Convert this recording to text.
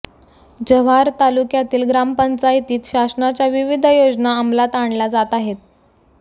जव्हार तालुक्यातील ग्रामपंचायातीत शासनाच्या विविध योजना अंमलात आणल्या जात आहेत